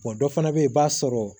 Wa dɔ fana bɛ yen i b'a sɔrɔ